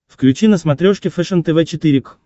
включи на смотрешке фэшен тв четыре к